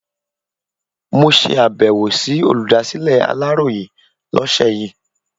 Mo ṣe abẹ̀wò sí olùdásílẹ̀ Aláròyé lọ́sẹ̀ yìí.